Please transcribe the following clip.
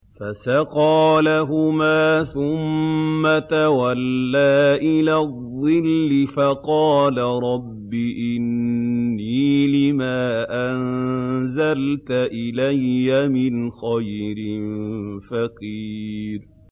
فَسَقَىٰ لَهُمَا ثُمَّ تَوَلَّىٰ إِلَى الظِّلِّ فَقَالَ رَبِّ إِنِّي لِمَا أَنزَلْتَ إِلَيَّ مِنْ خَيْرٍ فَقِيرٌ